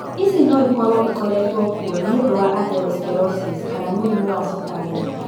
Ici no ikorũo ikoretwo kuo nĩ ũndũ wa atherosclerosis kana mũrimũ wa cukarĩ.